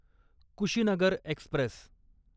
Kushinagar Express